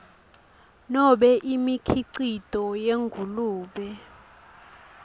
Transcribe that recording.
nobe imikhicito yengulube